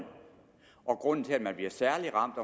grunden til at man bliver særlig ramt